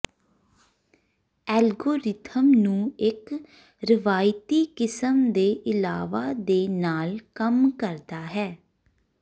algorithm ਨੂੰ ਇੱਕ ਰਵਾਇਤੀ ਕਿਸਮ ਦੇ ਇਲਾਵਾ ਦੇ ਨਾਲ ਕੰਮ ਕਰਦਾ ਹੈ